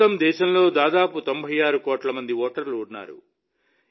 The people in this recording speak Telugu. ప్రస్తుతం దేశంలో దాదాపు 96 కోట్ల మంది ఓటర్లు ఉన్నారు